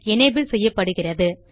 enable செய்யப்படுகிறது